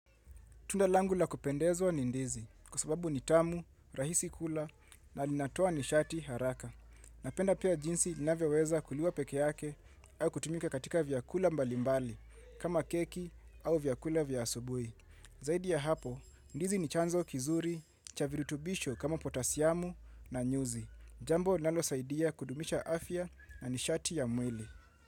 Tunda langu la kupendezwa ni ndizi kwa sababu ni tamu, rahisi kukula na linatoa nishati haraka. Napenda pia jinsi inavyoweza kuliwa pekee yake au kutumika katika vyakula mbali mbali kama keki au vyakula vya asubuhi. Zaidi ya hapo, ndizi ni chanzo kizuri, cha virutubisho kama potasiamu na nyuzi. Jambo linalosaidia kudumisha afya na nishati ya mwili.